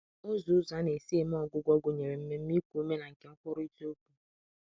Ụzọ Ụzọ a na-esi eme ọgwụgwọ gụnyere mmemme iku ume na nke nkwurịta okwu.